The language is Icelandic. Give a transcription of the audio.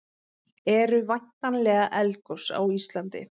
eru væntanleg eldgos á íslandi